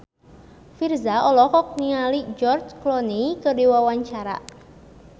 Virzha olohok ningali George Clooney keur diwawancara